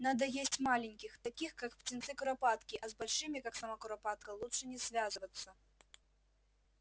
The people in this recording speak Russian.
надо есть маленьких таких как птенцы куропатки а с большими как сама куропатка лучше не связываться